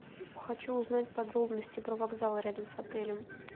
хочу узнать подробности про вокзал рядом с отелем